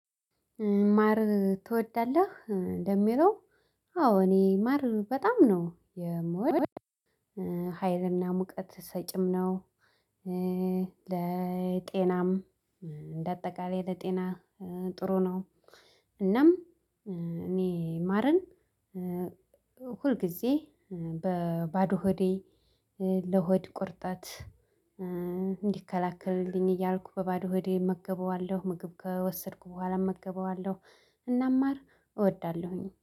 ማር ትወዳለህ ለሚለው? አዎ እኔ ማር በጣም ነው የምወደው። ሀይልና ሙቀት ሰጭም ነው። ለጤናም እንደ አጠቃላይ ለጤና ጥሩ ነው። እናም እኔ ማርን ሁል ጊዜ በባዶ ሆዴ ለሆድ ቁርጠት እንዲከላከልልኝ እያልኩ በባዶ ሆዴ እመገበዋለሁ ምግብ ከወሰድኩ በኋላ እመገበዋለሁ። እናም ማር እወዳለሁኝ